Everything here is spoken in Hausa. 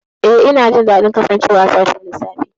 Eh, ina jin daɗin kasancewa a sashin lissafi.